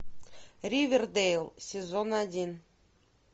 ривердейл сезон один